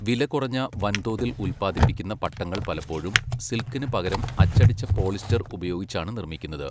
വിലകുറഞ്ഞ വൻതോതിൽ ഉൽപ്പാദിപ്പിക്കുന്ന പട്ടങ്ങൾ പലപ്പോഴും, സിൽക്കിന് പകരം അച്ചടിച്ച പോളിസ്റ്റർ ഉപയോഗിച്ചാണ് നിർമ്മിക്കുന്നത്.